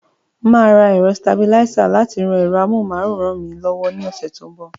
Màá ra ẹ̀rọsitabilísà láti ran ẹ̀rọ amóhuntutù mi lọ́wọ́ ní ọ̀sẹ̀ tó ń bọ̀.